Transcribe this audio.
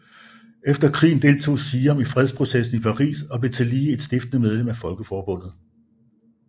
Efter krigen deltog Siam i fredskonferencen i Paris og blev tillige et stiftende medlem af Folkeforbundet